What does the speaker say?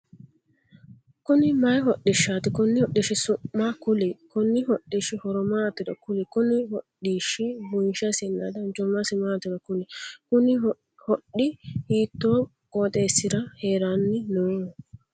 Konni mayi hodhishaati? Konni hodhishi su'ma kuli? Konni hodhishi horo maatiro kuli? Konni hodhishi bunshesinna danchumasi maatiro kuli? Kunni hodhi hiitoo qooxeesira haranni no?